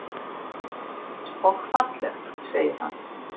Og fallegt, segir hann.